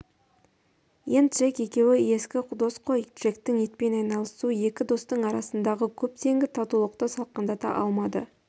ен джек екеуі ескі дос қой джектің итпен айналысуы екі достың арасындағы көптенгі татулықты салқындата алмады